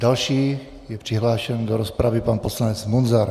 Další je přihlášen do rozpravy pan poslanec Munzar.